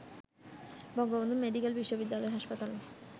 Bangabandhu medical বিশ্ববিদ্যালয় হাসপাতালে